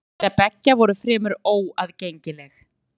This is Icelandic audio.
Rit þeirra beggja voru fremur óaðgengileg.